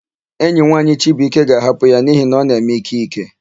Enyi nwaanyị Chibuike ga-ahapụ ya n'ihi na ọ na-eme ìké ìké.